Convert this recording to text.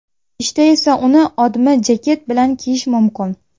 Ishda esa uni odmi jaket bilan kiyish mumkin.